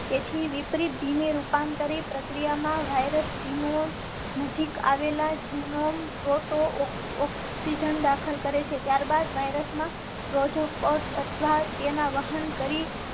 તેથી વિપરીત ધીમી રૂપાંતરણ પ્રક્રિયા માં વાઇરસ જિનોમ નજીક આવેલ આજી નો મોટો ઓક્સીજન દાખલ કરેં છે. ત્યારબાદ વાયરસ માં પ્રોજેક્ટ અથવા તેના વાહન કરી